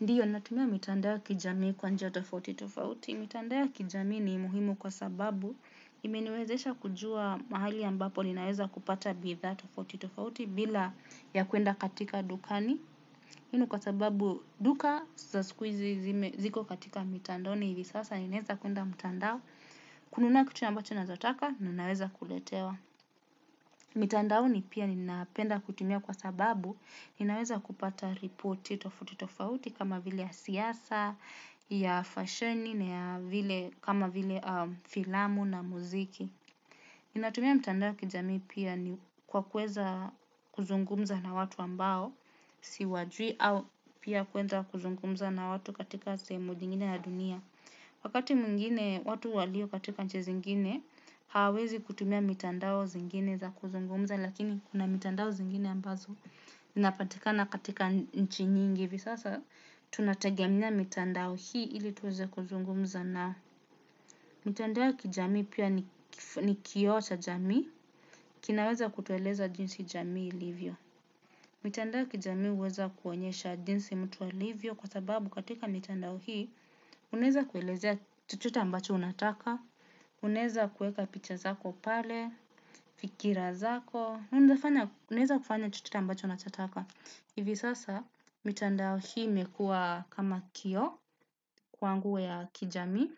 Ndiyo natumia mitandao ya kijamii kwa njia tofaoti tofauti. Mitandao ya kijamii ni muhimu kwa sababu imeniwezesha kujua mahali ambapo ninaweza kupata bidhaa tofaoti tofauti bila ya kwenda katika dukani. Hii ni kwa sababu duka za siku izi ziko katika mitandaoni hivi sasa ninaweza kwenda mitandao kununa kitu ambacho nachotaka na ninaweza kuletewa. Mitandao ni pia ninaapenda kutumia kwa sababu ninaweza kupata ripoti tofauti tofauti kama vile ya siasa, ya fasheni, kama vile filamu na muziki. Ninatumia mitandao ya kijamii pia ni kwa kuweza kuzungumza na watu ambao siwajui au pia kuweza kuzungumza na watu katika sehemu nyingine ya dunia. Wakati mwingine watu walio katika nchi zingine hawawezi kutumia mitandao zingine za kuzungumza lakini kuna mitandao zingine ambazo zinapatikana katika nchi nyingi ivi sasa tunategemea mitandao hii ili tuweze kuzungumza na mitandao kijamii pia ni kioo cha jamii kinaweza kutueleza jinsi jamii ilivyo. Mitandao kijami uweza kuonyesha jinsi mtu alivyo kwa sababu katika mitandao hii uneza kuelezea chochote ambacho unataka, uneza kueka picha zako pale, fikira zako, uneza kufanya chochote ambacho unataka. Ivi sasa mitandao hii imekua kama kioo kwangu ya kijami.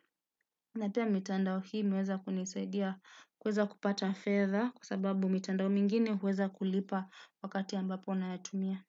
Napea mitandao hii meweza kuniswedia kweza kupata feather kwa sababu mitandao mingine uweza kulipa wakati ambapo unayatumia.